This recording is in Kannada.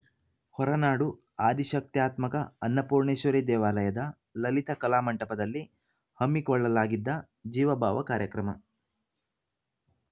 ಹೊರನಾಡು ಆದಿಶಕ್ತ್ಯಾತ್ಮಕ ಅನ್ನಪೂರ್ಣೆಶ್ವರಿ ದೇವಾಲಯದ ಲಲಿತಾ ಕಲಾಮಂಟಪದಲ್ಲಿ ಹಮ್ಮಿಕೊಳ್ಳಲಾಗಿದ್ದ ಜೀವಭಾವ ಕಾರ್ಯಕ್ರಮ